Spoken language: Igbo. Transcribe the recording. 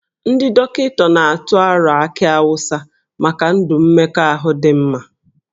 Ndị dọkịta na-atụ aro akị awụsa maka ndụ mmekọahụ dị mma